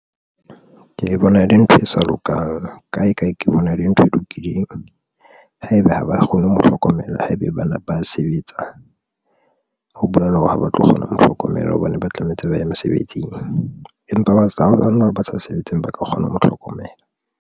Ke bona ele ntho e sa lokang kae, kae ke bona ele ntho e lokileng. Haeba ha ba kgone ho mo hlokomela. Haebe bana ba sebetsa ho bolela hore ha ba tlo kgona ho mo hlokomela hobane ba tlametse ba ye mesebetsing, empa batla bana ba sa sebetseng ba ka kgona ho mo hlokomela.